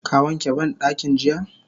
Ka wanke bandakin jiya?